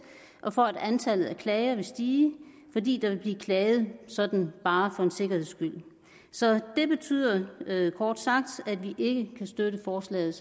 og for at antallet af klager vil stige fordi der vil blive klaget sådan bare for en sikkerheds skyld så det betyder kort sagt at vi ikke kan støtte forslaget